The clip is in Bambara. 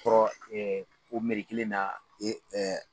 kɔrɔ o kelen na